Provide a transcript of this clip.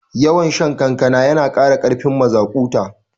Yawan shan kankana yana kara karfin mazaƙuta